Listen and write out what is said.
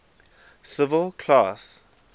civil class